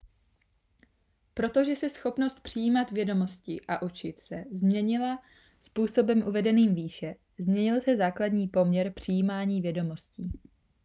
protože se schopnost přijímat vědomosti a učit se změnila způsobem uvedeným výše změnil se základní poměr přijímání vědomostí